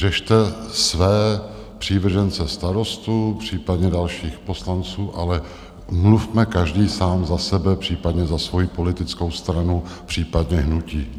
Řešte své přívržence Starostů, případně dalších poslanců, ale mluvme každý sám za sebe, případně za svojí politickou stranu, případně hnutí.